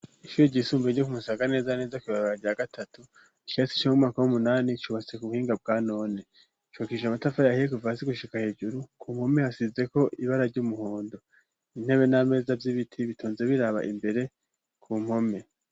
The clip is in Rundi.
ishure gisumbue ryo kumusaga neza na neza kwibarabara rya gatatu ikirasi co mu mwaka w'umunani cubatse ku buhinga bwa none cubakishije amatafar'ahiye kuva hasi gushika hejuru , ku mpome hasizeko ibara ry'umuhondo, intebe n'ameza vy'ibiti bitonze biraba imbere ku mpome.